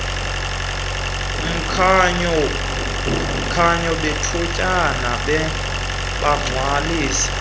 mkhanyo bethutyana bagcwalisa